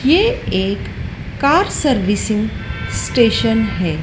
ये एक car servicing station है।